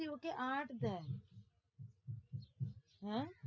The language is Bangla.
এই ওকে আট দেয়, হ্যাঁ